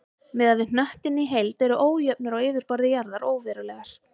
Miðað við hnöttinn í heild eru ójöfnur á yfirborði jarðar óverulegar.